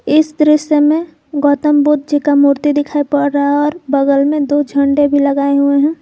इस दृश्य में गौतम बुद्ध जी का मूर्ति दिखाई पड़ रहा है और बगल में दो झंडे भी लगाए हुए हैं।